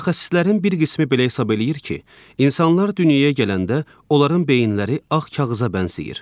Mütəxəssislərin bir qismi belə hesab eləyir ki, insanlar dünyaya gələndə onların beyinləri ağ kağıza bənzəyir.